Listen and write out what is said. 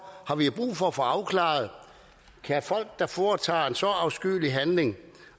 har vi brug for at få afklaret kan folk der foretager en så afskyelig handling